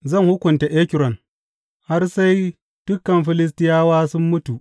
Zan hukunta Ekron, har sai dukan Filistiyawa sun mutu,